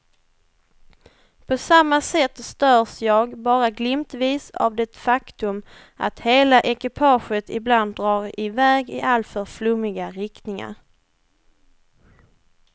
På samma sätt störs jag bara glimtvis av det faktum att hela ekipaget ibland drar i väg i alltför flummiga riktningar.